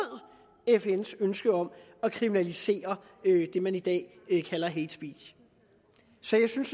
fns ønske om at kriminalisere det man i dag kalder hate speech så jeg synes